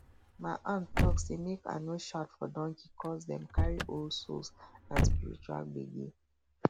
my aunt talk say make i no shout for donkey coz dem carry old souls and spiritual gbege